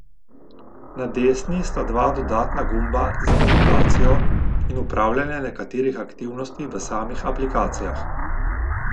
Na desni sta dva dodatna gumba za navigacijo in upravljanje nekaterih aktivnosti v samih aplikacijah.